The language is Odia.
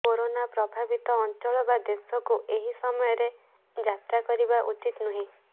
କରୋନା ପ୍ରଭାବିତ ଅଞ୍ଚଳ ବା ଦେଶକୁ ଏହି ସମୟରେ ଯାତ୍ରା କରିବା ଉଚିତ ନୁହେଁ